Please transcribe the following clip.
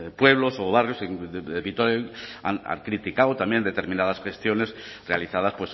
pueblos o barrios de vitoria han criticado también determinadas gestiones realizadas